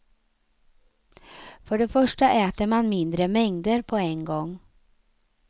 För det första äter man mindre mängder på en gång.